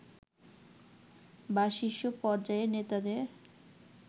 বা শীর্ষ পর্যায়ের নেতাদের